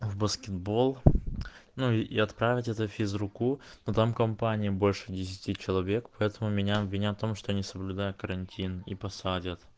в баскетбол ну и отправить это физруку но там компания больше десяти человек поэтому меня обвинят в том что я не соблюдаю карантин и посадят